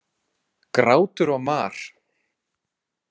Grátur og mar.